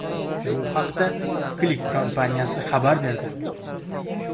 Bu haqda Click kompaniyasi xabar berdi.